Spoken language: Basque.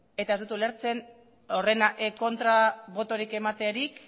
eta ez dut ulertzen horren kontra botorik ematerik